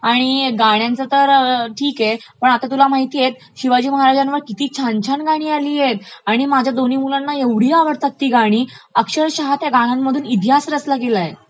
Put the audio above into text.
आणि गाण्यांचे तर ठीक आहे. पण आता तुला माहितेय शिवाजी महाराजांवरती किती छान छान गाणी आलियतं आणि माझ्या दोन्ही मुलांना ऐवढी आवडतात ती गाणी, अक्षरशः त्या गाण्यामधून इतिहास रचला गेलायं .